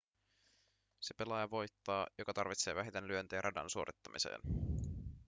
se pelaaja voittaa joka tarvitsee vähiten lyöntejä radan suorittamiseen